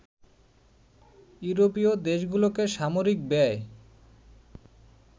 ইউরোপীয় দেশগুলোকে সামরিক ব্যায়